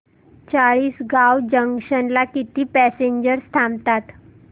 Chalisgaon junction ला किती passengers थांबतात